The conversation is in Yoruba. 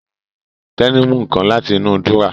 Tẹ́ní mú nǹkan láti inú dúrọ́à